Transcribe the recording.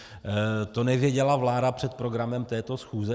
To nevěděla vláda před programem této schůze?